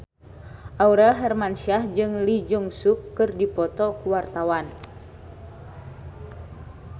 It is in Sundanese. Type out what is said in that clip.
Aurel Hermansyah jeung Lee Jeong Suk keur dipoto ku wartawan